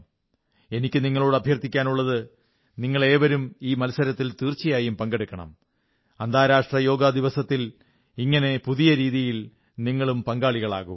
എനിക്കു നിങ്ങളോട് അഭ്യർഥിക്കാനുള്ളത് നിങ്ങളേവരും ഈ മത്സരത്തിൽ തീർച്ചയായും പങ്കെടുക്കണം അന്താരാഷ്ട്ര യോഗ ദിവസത്തിൽ ഇങ്ങനെ പുതിയ രീതിയിൽ നിങ്ങളും പങ്കാളിയാകൂ